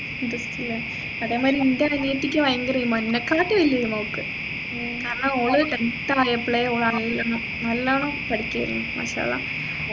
interest ഇല്ല അതെ മാതിരി എൻെറ അനിയത്തിക്ക് ഭയങ്കര കാരണം ഓൾ tenth ആയപ്പോയേ ഓൾ നല്ലോണ നല്ലോണം പഠിക്കുആയിരുന്നു മാഷല്ലാഹ്